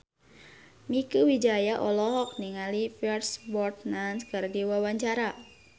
Mieke Wijaya olohok ningali Pierce Brosnan keur diwawancara